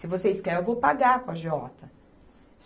Se vocês querem, eu vou pagar para o agiota.